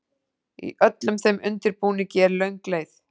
Í öllum þeim undirbúningi er löng leið.